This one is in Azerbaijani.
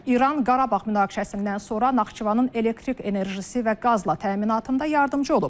İran Qarabağ münaqişəsindən sonra Naxçıvanın elektrik enerjisi və qazla təminatında yardımçı olub.